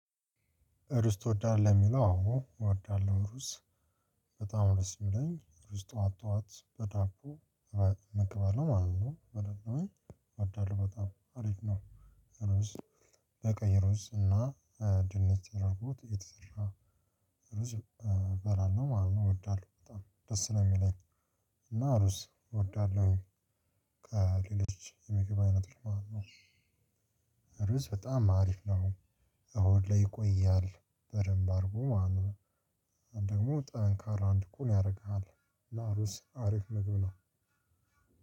ጁስ ትወዳለህ ለሚለው? አዎ እወዳለሁ አዎ በጣም ነው ደስ የሚለኝ ጠዋት ጠዋት በዳቦ መገባል ነው ማለት ነው። በዳቦ እወዳለሁ በጣም አሪፍ ነው። ሮዝ በቀይሮስ እና ድንች ያደረጉት የተሰራ ርዝ እበራለሁ ማለት ነው። እወዳለሁ በጣም ደስ ነው የሚለኝ። እና ሩስ እወዳለሁ። ከሌሎች የሚገባ አይነት። ሩዝ በጣም አሪፍ ነው። ሆድ ላይ ይቆያል በደንብ አድረጎ ማለትነው። ደግሞ ጠንካራ እንድትሆን ያደርግሃል። እና ሩዝ አሪፍ ምግብ ነው።